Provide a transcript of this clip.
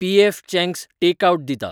PF Chang's टॅक आवट दिता